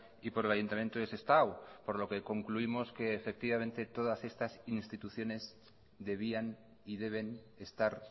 y por el ayuntamiento de sestao por lo que concluimos que efectivamente todas estas instituciones debían y deben estar